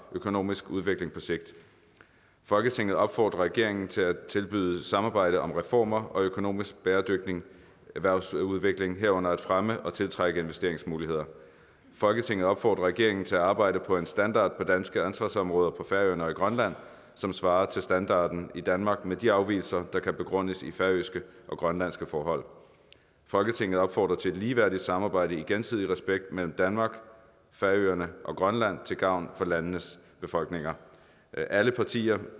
økonomisk udvikling på sigt folketinget opfordrer regeringen til at tilbyde samarbejde om reformer og økonomisk bæredygtig erhvervsudvikling herunder om at fremme og tiltrække investeringsmuligheder folketinget opfordrer regeringen til at arbejde for en standard på danske ansvarsområder på færøerne og i grønland som svarer til standarden i danmark med de afvigelser der kan begrundes i færøske og grønlandske forhold folketinget opfordrer til et ligeværdigt samarbejde i gensidig respekt mellem danmark færøerne og grønland til gavn for landenes befolkninger alle partier